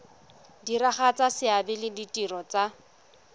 diragatsa seabe le ditiro tsa